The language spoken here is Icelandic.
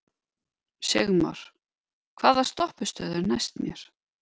Sigmar, hvaða stoppistöð er næst mér?